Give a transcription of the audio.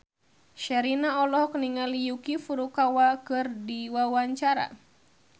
Sherina olohok ningali Yuki Furukawa keur diwawancara